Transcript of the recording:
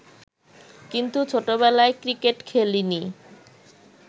কিন্তু ছোটবেলায় ক্রিকেট খেলিনি